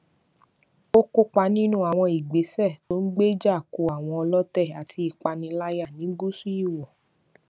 ó kópa nínú àwọn ìgbésẹ tó ń gbéjà kò àwọn ọlọtẹ àti ìpániláyà ní gúúsù ìwò